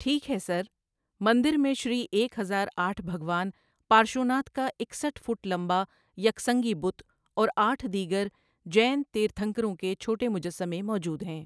ٹھیک ہے، سر؟ مندر میں شری ایک ہزار آٹھ بھگوان پارشوناتھ کا اکسٹھ فٹ لمبا یک سنگی بت اور آٹھ دیگر جین تیرتھنکروں کے چھوٹے مجسمے موجود ہیں۔